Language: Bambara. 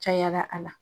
Cayala a la